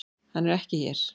Hann er ekki hér.